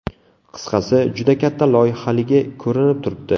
Qisqasi, juda katta loyihaligi ko‘rinib turibdi.